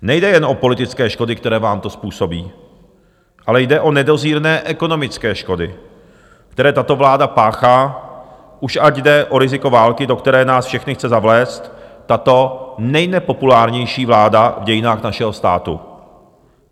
Nejde jen o politické škody, které vám to způsobí, ale jde o nedozírné ekonomické škody, které tato vláda páchá, ať už jde o riziko války, do které nás všechny chce zavléct tato nejnepopulárnější vláda v dějinách našeho státu.